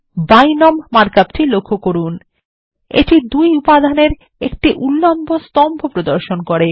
বিনোম মার্ক অপটি লক্ষ্য করুন এটি দুই উপাদানের একটি উল্লম্ব স্তম্ভ প্রদর্শন করে